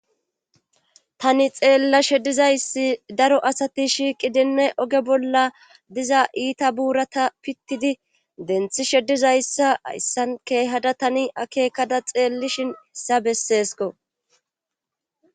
Tani xeella shedizayssi daro asati shiiqi denne oge bolla diza iita buurata pittidi denthi sheddizayssa ayssan keehada tani akeekada xeellishin hissa besseesko.